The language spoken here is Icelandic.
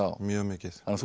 mjög mikið þú